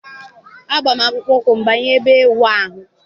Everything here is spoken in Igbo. Agba m akpụkpọ ụkwụ banye ebe ịwụ ahụ.